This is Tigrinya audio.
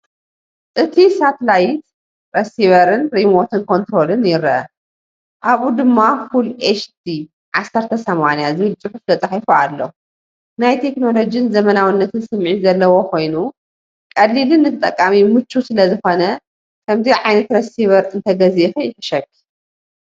እቲ ሳተላይት ሪሲቨርን ሪሞት ኮንትሮልን ይርአ። ኣብኡ ድማ “Full HD 1080” ዝብል ጽሑፍ ተጻሒፉ ኣሎ። ናይ ቴክኖሎጅን ዘመናዊነትን ስምዒት ዘለዎ ኮይኑ፡ ቀሊልን ንተጠቃሚ ምቹውን ስለዝኾነ ከምዚኣ ዓይነት ረሲቨር እንተገዚእኺ ይሕሸኪ።